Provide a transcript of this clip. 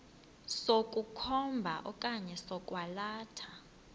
sokukhomba okanye sokwalatha